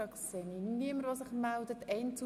– Ich sehe keine Wortmeldungen.